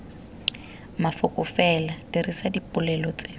mafoko fela dirisa dipolelo tse